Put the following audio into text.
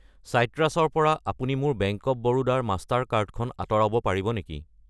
চাইট্ৰাছ ৰ পৰা আপুনি মোৰ বেংক অৱ বৰোদা ৰ মাষ্টাৰ কাৰ্ড খন আঁতৰাব পাৰিব নেকি?